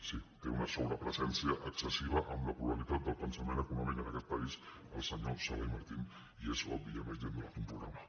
sí té una sobrepresència excessiva amb la pluralitat del pensament econòmic en aquest país el senyor sala i martín i és obvi i a més li han donat un programa